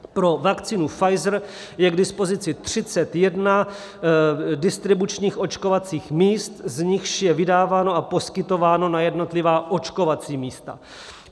Pro vakcínu Pfizer je k dispozici 31 distribučních očkovacích míst, z nichž je vydáváno a poskytováno na jednotlivá očkovací místa.